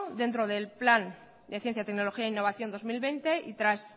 dentro del plan de ciencia tecnología e innovación dos mil veinte y tras